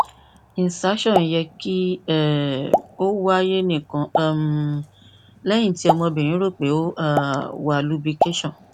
insertion yẹ ki um o waye nikan um lẹhin ti ọmọbirin ro pe o um wa lubrication